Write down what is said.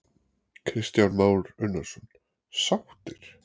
Kristján Már Unnarsson: Sáttir?